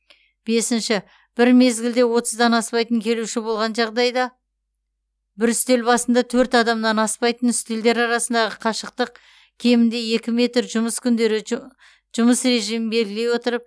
бесінші бір мезгілде отыздан аспайтын келуші болған жағдайда бір үстел басында төрт адамнан аспайтын үстелдер арасындағы қашықтық кемінде екі метр жұмыс күндері жұмыс режимін белгілей отырып